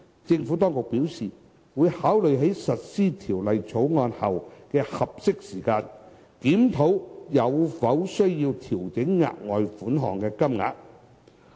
政府當局表示，會考慮在實施《條例草案》後的合適時間，檢討有否需要調整額外款項的金額。